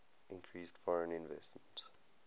increased foreign investment